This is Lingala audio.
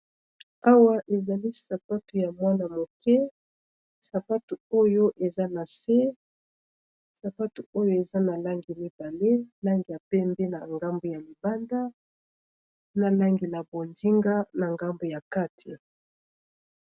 awa ezali sapatu ya mwana moke sapatu oyo eza na se sapatu oyo eza na langi mibale langi a pembe na ngambu ya mibanda na langi na bondinga na ngambu ya kati